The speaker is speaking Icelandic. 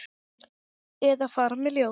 Eða fara með ljóð.